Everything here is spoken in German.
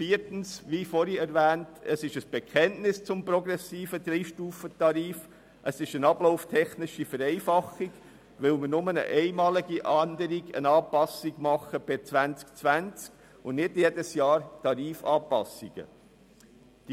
Viertens handelt es sich, wie bereits vorhin erwähnt, um ein Bekenntnis zum progressiven Dreistufentarif und um eine ablauftechnische Vereinfachung, weil wir nur eine einmalige Anpassung per 2020 und nicht jährliche Tarifanpassungen vornehmen.